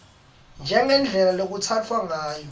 njengendlela lekutsatfwa ngayo